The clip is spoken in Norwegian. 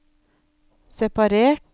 separert